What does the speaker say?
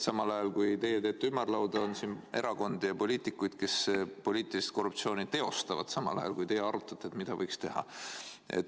Sel ajal kui teie teete ümarlauda, on siin erakondi ja poliitikuid, kes poliitilist korruptsiooni teostavad – sel ajal kui te arutate, mida võiks teha.